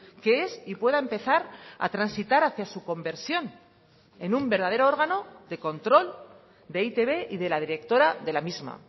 que es y pueda empezar a transitar hacia su conversión en un verdadero órgano de control de e i te be y de la directora de la misma